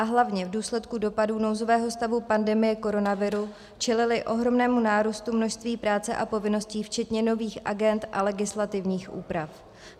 A hlavně v důsledku dopadů nouzového stavu pandemie koronaviru čelili ohromnému nárůstu množství práce a povinností včetně nových agend a legislativních úprav.